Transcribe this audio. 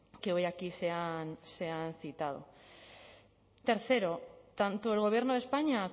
que hoy aquí se han citado tercero tanto el gobierno de españa